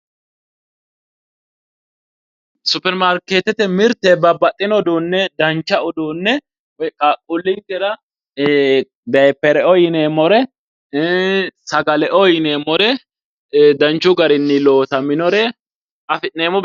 Supirimaarketete mirte babbaxino uduune dancha uduune woyi qaaqqulinkera ee dayipereo yineemmore, sagaleo yineemmore danchu garinni loosaminore afi'neemmo.